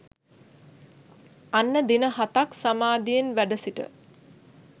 අන්න දින හතක් සමාධියෙන් වැඩසිට